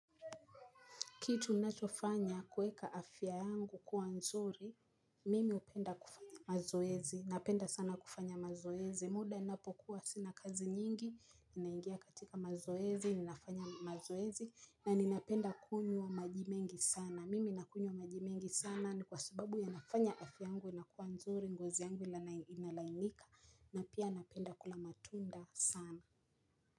Kitu ninachofanya kueka afya yangu kuwa nzuri, mimi hupenda kufanya mazoezi, napenda sana kufanya mazoezi, muda ninapokuwa sina kazi nyingi, ninaingia katika mazoezi, ninafanya mazoezi, na ninapenda kunywa wa maji mengi sana, mimi nakunywa wa maji mengi sana, ni kwa sababu yanafanya afya yangu inakuwa nzuri, ngozi yangu inalainika, na pia napenda kula matunda sana.